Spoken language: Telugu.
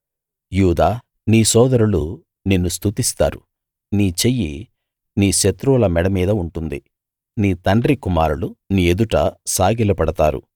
యూదా నీ సోదరులు నిన్ను స్తుతిస్తారు నీ చెయ్యి నీ శత్రువుల మెడ మీద ఉంటుంది నీ తండ్రి కుమారులు నీ ఎదుట సాగిలపడతారు